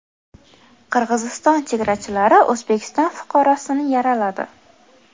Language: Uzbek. Qirg‘iziston chegarachilari O‘zbekiston fuqarosini yaraladi .